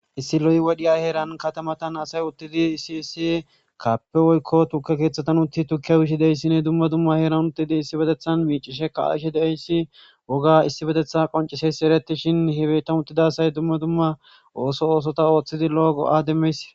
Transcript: issi lo'i wodhiya heeran katamatan asay uttidi isiissi kaappe woykko tuke keeththatan utti tukke wishi deyssini dumma dumma heeran uttidi issi betethan miicishe kaaishi deeyssi woga issi betetha qonciseysi eretishin hibetan uttidasay dumma dumma ooso oosota ooththidi loogo demeys